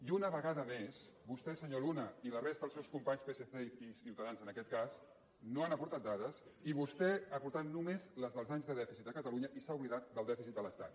i una vegada més vostè senyor luna i la resta dels seus companys psc i ciutadans en aquest cas no han aportat dades i vostè ha aportat només les dels anys de dèficit de catalunya i s’ha oblidat del dèficit de l’estat